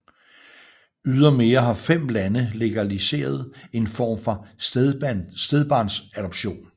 Ydermere har 5 lande legaliseret en form for stedbarnsadoption